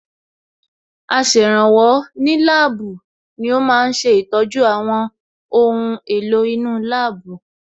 Aṣèrànwọ́ ní láàbù ni ó ma ń ṣe ìtọ́jú àwọn ohun èlò inú láàbù